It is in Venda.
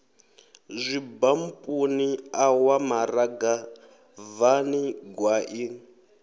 zwibampuni ṋawa maranga bvani gwaḓi